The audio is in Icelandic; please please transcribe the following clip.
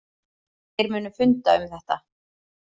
Þeir munu funda um þetta.